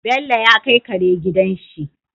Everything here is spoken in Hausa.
Bello ya kai Kare gidan shi